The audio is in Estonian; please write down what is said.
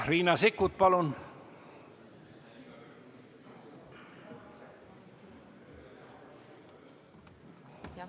Riina Sikkut, palun!